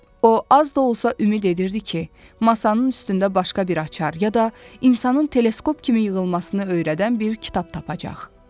O az da olsa ümid edirdi ki, masanın üstündə başqa bir açar ya da insanın teleskop kimi yığılmasını öyrədən bir kitab tapacaq.